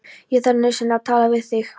Ég þarf nauðsynlega að tala við þig.